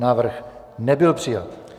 Návrh nebyl přijat.